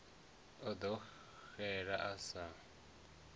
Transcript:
a ḓo xela a sa